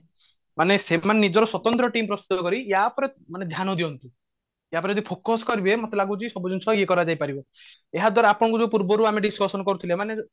ମାନେ ସେମାନେ ନିଜର ସ୍ଵତନ୍ତ୍ର team ପ୍ରସ୍ତୁତ କରି ୟା ଉପରେ ମାନେ ଧ୍ୟାନ ଦିଅନ୍ତୁ ୟା ଉପରେ ଯଦି focus କରିବେ ମତେ ଲାଗୁଛି ସବୁ ଜିନିଷ ଇଏ କରାଯାଇ ପାରିବ ଏହାଦ୍ବାରା ଆପଣଙ୍କୁ ଯୋଉ ପୂର୍ବରୁ ଆମେ discussion କରୁଥିଲେ ମାନେ